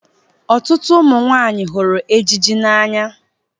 Ọtụtụ ụmụ nwanyị hụrụ ejiji n'anya